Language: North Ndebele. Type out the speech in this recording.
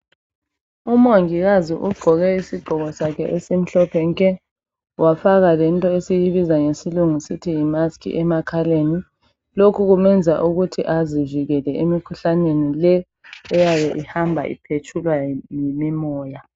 Umongikazi ugqoke isigqoko sakhe esimhlophe nke wafaka lento esiyibiza ngesilungu sithi yimusk emakhaleni lokhu kwenza ukuthi azivikeleke emikhuhlaneni eyabe ihamba iphetshulwa yimimoya